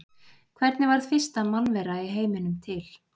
Hvernig varð fyrsta mannvera í heiminum til?